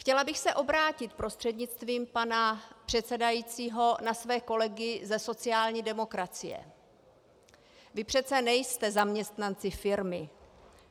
Chtěla bych se obrátit prostřednictvím pana předsedajícího na své kolegy ze sociální demokracie: Vy přece nejste zaměstnanci firmy.